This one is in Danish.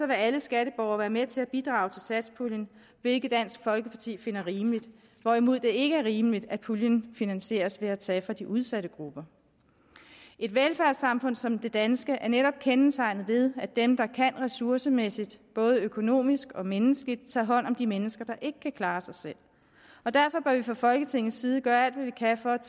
vil alle skatteborgere være med til at bidrage til satspuljen hvilket dansk folkeparti finder rimeligt hvorimod det ikke er rimeligt at puljen finansieres ved at tage fra de udsatte grupper et velfærdssamfund som det danske er netop kendetegnet ved at dem der kan ressourcemæssigt både økonomisk og menneskeligt tager hånd om de mennesker der ikke kan klare sig selv derfor bør vi fra folketingets side gøre alt hvad vi kan for at